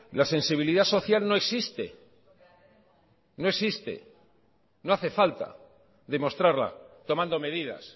la sensibilidad social no existe no existe no hace falta demostrarla tomando medidas